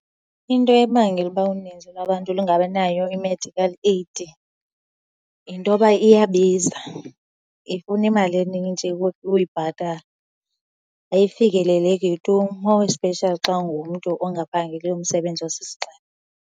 Into ebangela uba uninzi lwabantu lungabinayo i-medical aid yinto yoba iyabiza, ifuna imali enintshi ukuyibhatala. Ayifikeleleki tu, more especially xa ungumntu ongaphangeliyo umsebenzi osisigxina.